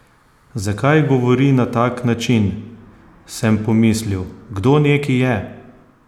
Zakaj govori na tak način, sem pomislil, kdo neki je?